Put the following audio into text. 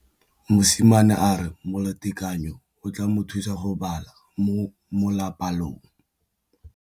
Mosimane a re molatekanyô o tla mo thusa go bala mo molapalong.